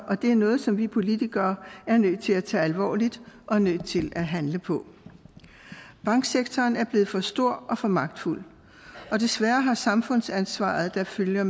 og det er noget som vi politikere er nødt til at tage alvorligt og nødt til at handle på banksektoren er blevet for stor og for magtfuld og desværre har samfundsansvaret der følger